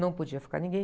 Não podia ficar ninguém.